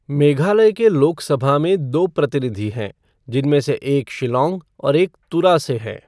मेघालय के लोकसभा में दो प्रतिनिधि हैं, जिनमें से एक शिल्लॉंग और एक तुरा से हैं।